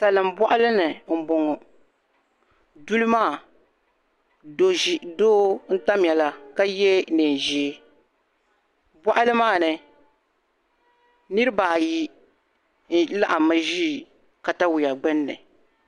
Salin' bɔɣili ni m-bɔŋɔ duli maa doo n-tamya la ka ye neen' ʒee bɔɣili maa ni niriba ayi laɣimmi ʒi katawia gbunni